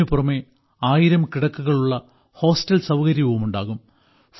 ഇതിനു പുറമേ ആയിരം കിടക്കകളുള്ള ഹോസ്റ്റൽ സൌകര്യവുമുണ്ടാകും